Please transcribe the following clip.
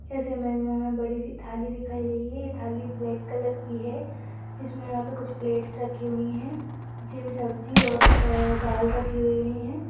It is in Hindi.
इस इमेज में हमें बड़ी सी थाली दिखाई गई है यह थाली ब्लैक कलर की है इसमें यहाँ पर कुछ प्लेट्स रखी हुईं हैं जिनमे सब्जी और अ दाल रखी हुई है।